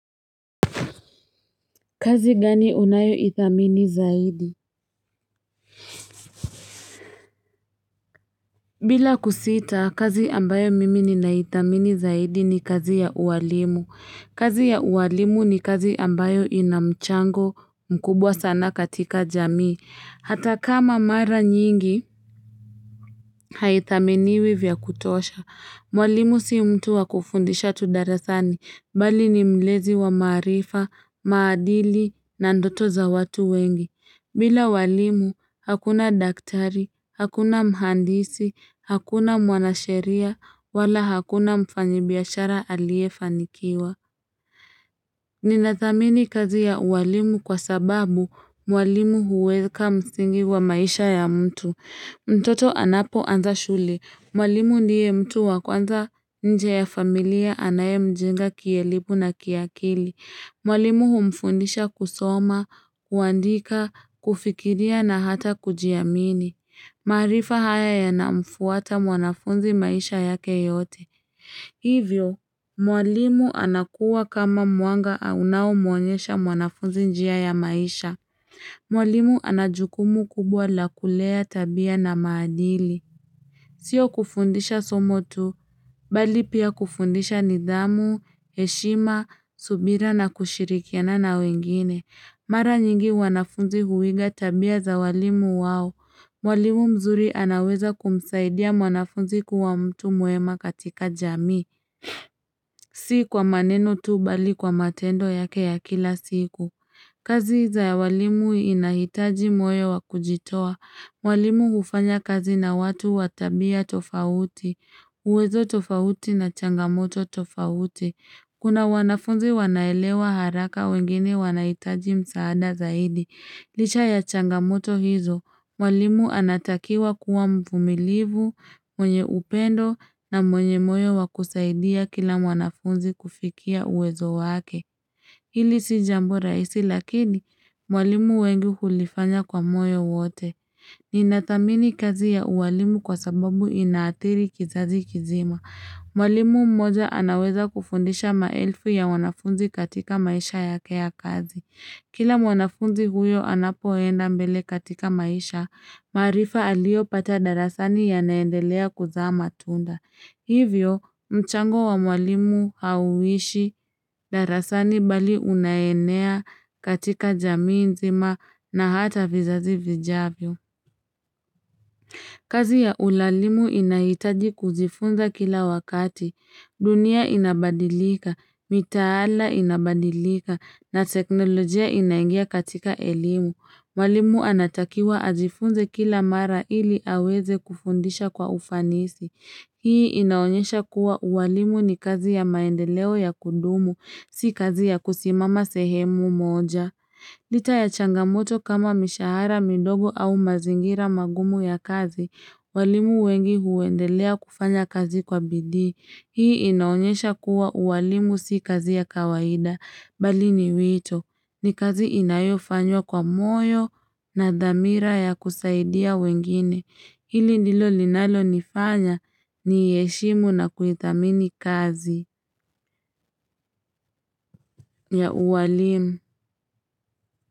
Kazi gani unayo ithamini zaidi? Bila kusita, kazi ambayo mimi ni na ithamini zaidi ni kazi ya uwalimu. Kazi ya uwalimu ni kazi ambayo inamchango mkubwa sana katika jamii. Hata kama mara nyingi, haithaminiwi vya kutosha. Mwalimu si mtu wa kufundisha tu darasani, mbali ni mlezi wa maarifa, maadili na ndoto za watu wengi. Bila walimu, hakuna daktari, hakuna mhandisi, hakuna mwanasheria, wala hakuna mfanyibiashara aliyefanikiwa Ninathamini kazi ya uwalimu kwa sababu, Mwalimu huweka msingi wa maisha ya mtu mtoto anapoanza shule, mwalimu ndiye mtu wa kwanza nje ya familia anaye mjenga kielimu na kiakili Mwalimu humfundisha kusoma, kuandika, kufikiria na hata kujiamini. Maarifa haya yanamfuata mwanafunzi maisha yake yote. Hivyo, mwalimu anakuwa kama mwanga unao mwonyesha mwanafunzi njia ya maisha. Mwalimu ana jukumu kubwa la kulea tabia na maadili. Sio kufundisha somo tu, bali pia kufundisha nidhamu, heshima, subira na kushirikiana na wengine. Mara nyingi wanafunzi huiga tabia za walimu wao. Mwalimu mzuri anaweza kumsaidia mwanafunzi kuwa mtu mwema katika jamii Si kwa maneno tu bali kwa matendo yake ya kila siku. Kazi za walimu inahitaji moyo wa kujitoa. Mwalimu hufanya kazi na watu wa tabia tofauti, uwezo tofauti na changamoto tofauti. Kuna wanafunzi wanaelewa haraka wengine wanahitaji msaada zaidi. Licha ya changamoto hizo, Mwalimu anatakiwa kuwa mvumilivu, mwenye upendo na mwenye moyo wa kusaidia kila mwanafunzi kufikia uwezo wake. Hili si jambo rahisi lakini, walimu wengi hulifanya kwa moyo wote. Ninathamini kazi ya uwalimu kwa sababu inaathiri kizazi kizima. Mwalimu mmoja anaweza kufundisha maelfu ya wanafunzi katika maisha yake kazi. Kila mwanafunzi huyo anapoenda mbele katika maisha, maarifa aliyopata darasani yanaendelea kuzaa matunda. Hivyo, mchango wa mwalimu hauishi darasani bali unaenea katika jamii nzima na hata vizazi vijavyo. Kazi ya uwalimu inahitaji kujifunza kila wakati. Dunia inabadilika, mitaala inabadilika, na teknolojia inaingia katika elimu. Mwallimu anatakiwa ajifunze kila mara ili aweze kufundisha kwa ufanisi. Hii inaonyesha kuwa ualimu ni kazi ya maendeleo ya kudumu, si kazi ya kusimama sehemu moja. Licha ya changamoto kama mishahara midogo au mazingira magumu ya kazi, walimu wengi huendelea kufanya kazi kwa bidii Hii inaonyesha kuwa ualimu si kazi ya kawaida, bali ni wito. Ni kazi inayofanywa kwa moyo na dhamira ya kusaidia wengine. Hili ndilo linalo nifanya niiheshimu na kuithamini kazi ya ualimu.